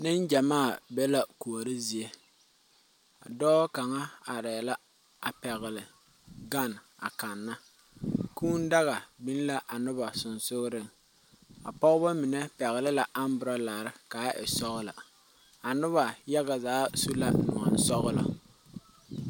Nen gyɛmaa be la kuori zie, dɔɔ kaŋa are la a pɛgeli gan a kanna kʋʋ daga biŋ la a noba sensɔleŋ pɔgeba mine pɛgeli la katawiirii ka a e sɔglɔ a noba yaga. zaa su la nɔɔŋ sɔglɔ.